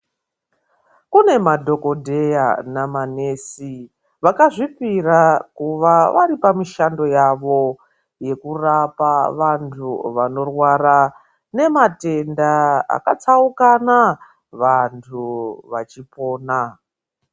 Kune madhokodheya namanesi vakazvipira kuva vari pamishando yavo yekurapa vanthu vanorwara nematenda akatsaukana vanthu vachipona.